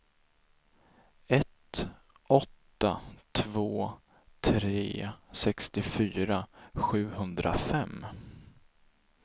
ett åtta två tre sextiofyra sjuhundrafem